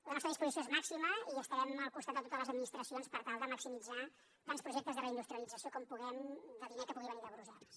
la nostra disposició és màxima i estarem al costat de totes les administracions per tal de maximitzar tants projectes de reindustrialització com puguem de diner que pugui venir de brussel·les